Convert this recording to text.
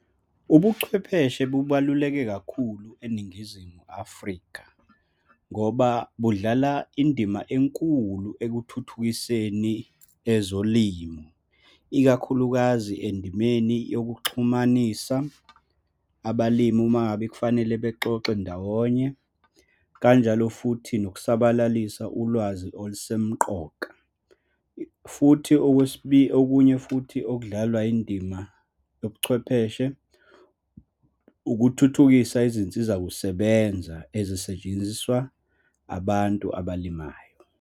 Ubuchwepheshe bubaluleke kakhulu eNingizimu Afrika ngoba budlala indima enkulu ekuthuthukiseni ezolimo, ikakhulukazi endimeni yokuxhumanisa abalimi uma ngabe kufanele bexoxe ndawonye, kanjalo futhi nokusabalalisa ulwazi olusemqoka, futhi , okunye futhi okudlalwa yindima yobuchwepheshe, ukuthuthukisa izinsizakusebenza ezisetshenziswa abantu abalimayo.